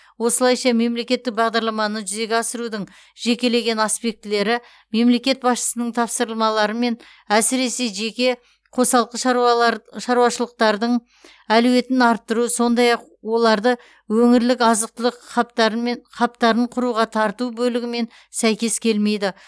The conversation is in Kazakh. осылайша мемлекеттік бағдарламаны жүзеге асырудың жекелеген аспектілері мемлекет басшысының тапсырмаларымен әсіресе жеке қосалқы шаруашылықтардың әлеуетін арттыру сондай ақ оларды өңірлік азық түлік хабтарын құруға тарту бөлігімен сәйкес келмейді